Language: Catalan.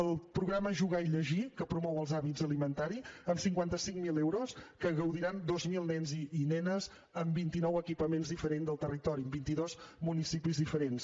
el programa jugar i llegir que promou els hàbits alimentaris amb cinquanta cinc mil euros de què gaudiran dos mil nens i nenes en vintinou equipaments diferents del territori en vintidos municipis diferents